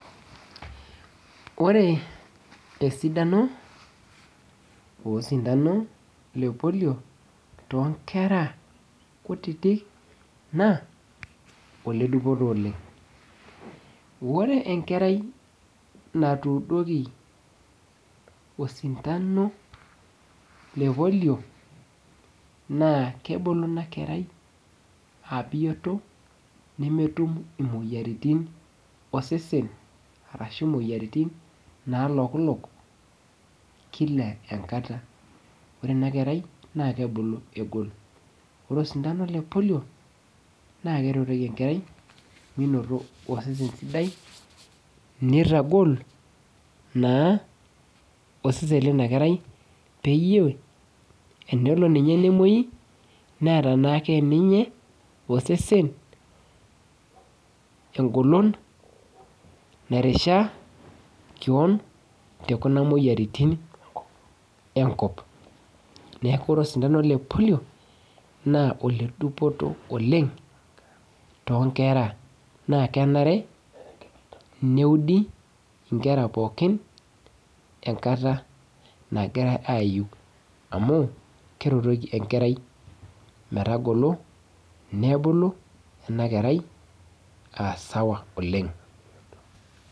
Ore esidano osintano le polio tonkera kutitik naa ole dupoto oleng ore enkerai natuudoki osintano le polio naa kebulu ina kerai abioto nemetum imoyiaritin osesen arashu imoyiaritin nalokilok kila enkata ore ina kerai naa kebulu egol ore osintano le polio naa keretoki enkera minoto osesen sidai nitagol naa osesen lina kerai peyie enelo ninye nemuoi neeta naake ninye osesen engolon nairishaa keon tekuna moyiaritin enkop neku ore osintano le polio naa ole dupoto oleng tonkera naa kenare neudi inkera pookin enkata nagira ayu amu keretoki enkerai metagolo nebulu ena kerai asawa oleng.